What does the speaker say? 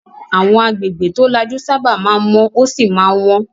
Àwọn agbègbè tó lajú sábà máa ń mọ́ ó sì máa ń wọ́n.